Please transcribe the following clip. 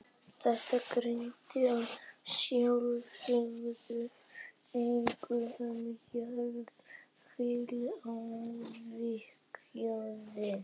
Þetta gildir að sjálfsögðu einnig um jarðhitavirkjanir.